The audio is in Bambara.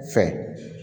Fɛn